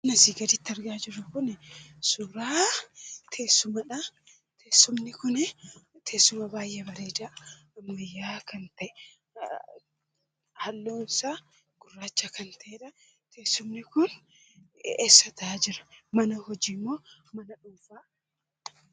Suuraan asii gadiitti argaa jirru kunii suuraa teessumadhaa, teessumni kunii teessuma baayyee bareedaa ammayyaa'aa kan ta'e halluunsaa gurraacha kan ta'edhaa, teessumni kun eessa taa'aa jira? Mana hojiimoo mana dhuunfaadha?